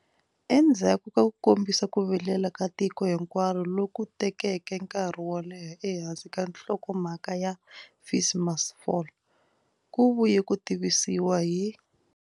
Endzhaku ka ku kombisa ku vilela ka tiko hinkwaro loku tekeke nkarhi wo leha ehansi ka nhlokomhaka ya FeesMustFall, ku vuye ku tivisiwa hi.